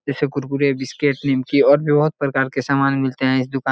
जैसे कुरकुरे बिस्किट निमकी और भी बहुत प्रकार के सामान मिलते है इस दुकान --